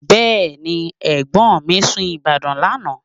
Bẹ́ẹ̀ni, ẹ̀gbọ́n mi sun Ìbàdàn lánàá